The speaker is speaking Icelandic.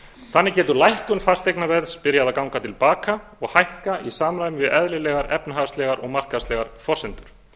þannig getur lækkun fasteignaverðs byrjað að ganga til baka og hækka í samræmi við eðlilegar efnahagslegar og markaðslegar forsendur